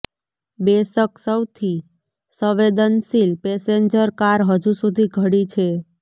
બેશક સૌથી સંવેદનશીલ passenger car હજુ સુધી ઘડી છે